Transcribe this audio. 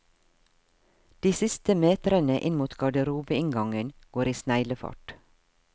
De siste metrene inn mot garderobeinngangen går i sneglefart.